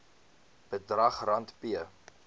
bedrag rand p